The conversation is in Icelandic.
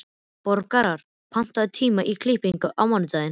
Borgar, pantaðu tíma í klippingu á mánudaginn.